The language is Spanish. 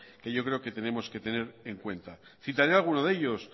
que yo creo que tenemos que tener en cuenta citaré alguno de ellos